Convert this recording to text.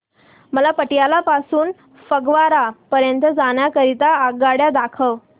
मला पटियाला पासून ते फगवारा पर्यंत जाण्या करीता आगगाड्या दाखवा